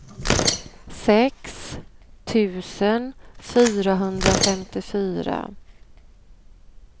sex tusen fyrahundrafemtiofyra